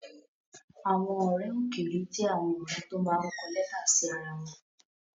Àwọn ọ̀rẹ́ òkèèrè jẹ́ àwọn ọ̀rẹ́ tó máa ń kọ lẹ́tà sí ara wọn